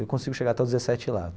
Eu consigo chegar até os dezessete lá.